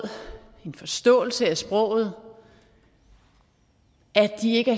en forståelse af sproget at de ikke